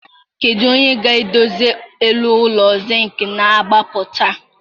Kedu onye ga-edozi elu ụlọ Zịnkị na-agbapụta?